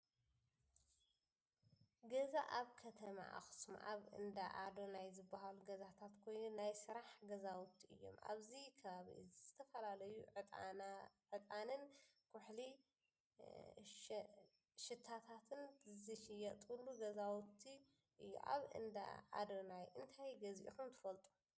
ገዛ፦ ኣብ ከተማ ኣክሱም ኣብ እንዳ ኣዳናይ ዝበሃሉ ገዛታት ኮይኑ ናይ ስራሕ ገዛውቲ እዮም ። ኣብዚ ከባቢ እዚ ዝተፈላለዩ ዕጣንን ኩሕሊ ሸናታትን ዝሽየጠሉ ገዛውቲ እዩ። ኣብ እዳ ኣዳነይ እንታይ ገዚኹም ትፈልጡ?